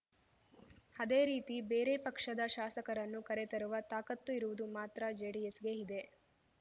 ಅದೇ ರೀತಿ ಬೇರೆ ಪಕ್ಷದ ಶಾಸಕರನ್ನು ಕರೆತರುವ ತಾಕತ್ತು ಇರುವುದು ಮಾತ್ರ ಜೆಡಿಎಸ್‌ಗೆ ಇದೆ